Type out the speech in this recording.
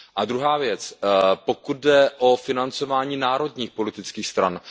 Druhá věc, pokud jde o financování národních politických stran.